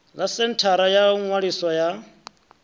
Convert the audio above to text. ḽa senthara yo ṅwaliswaho ya